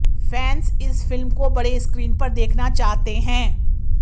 fans इस फिल्म को बड़े स्क्रीन पर देखना चाहते हैं